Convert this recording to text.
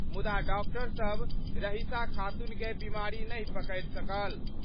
मुदा डॉक्टर सब रहिसा खातून कए बीमारी नहि पकड़ि सकल।